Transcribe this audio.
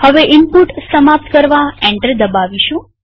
હવે ઈનપુટ સમાપ્ત કરવા એન્ટર દબાવીશું